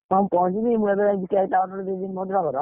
ହଁ ମୁଁ ପହଞ୍ଚିବି, ମୁଁ ଏବେ cake ଟା order ଦେଇ ଦେବି ଭଦ୍ରକର।